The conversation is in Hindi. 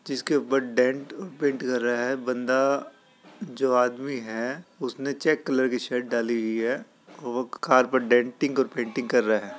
जिसके ऊपर डेंट पेंट कर रहा है बन्दा जो आदमी है उसने चेक कलर की शर्ट डाली हुई है। वो कार पर डेंटिंग और पेंटिंग कर रहा है।